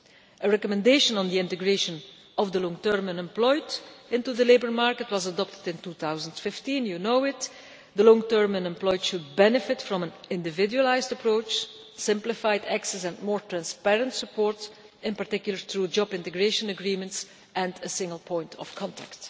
A recommendation on the integration of the long term unemployed into the labour market was adopted in 2015, you know this. The long term unemployed should benefit from an individualised approach, simplified access and more transparent support, in particular through job integration agreements and a single point of contact.